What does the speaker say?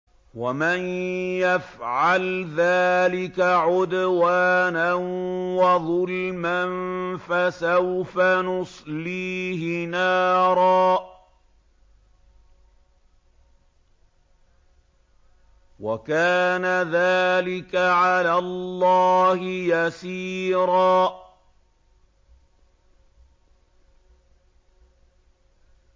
وَمَن يَفْعَلْ ذَٰلِكَ عُدْوَانًا وَظُلْمًا فَسَوْفَ نُصْلِيهِ نَارًا ۚ وَكَانَ ذَٰلِكَ عَلَى اللَّهِ يَسِيرًا